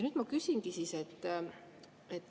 Nüüd ma küsingi.